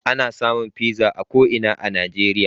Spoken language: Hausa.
Ana samun pizza a ko ina a Najeriya.